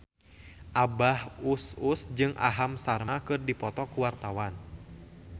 Abah Us Us jeung Aham Sharma keur dipoto ku wartawan